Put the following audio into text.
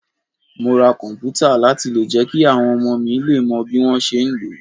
Mo ti ra komputa láti jẹ́ kí àwọn ọmọ mi lè mọ bí wọ́n ṣe ń lò ó.